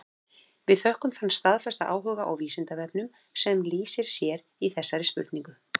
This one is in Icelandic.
Við þökkum þann staðfasta áhuga á Vísindavefnum sem lýsir sér í þessari spurningu.